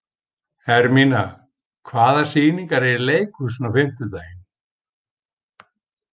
Hermína, hvaða sýningar eru í leikhúsinu á fimmtudaginn?